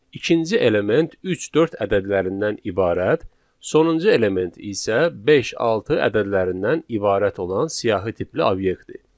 İkinci element üç, dörd ədədlərindən ibarət, sonuncu element isə beş, altı ədədlərindən ibarət olan siyahı tipli obyektdir.